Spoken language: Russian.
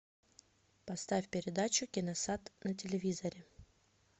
поставь передачу киносад на телевизоре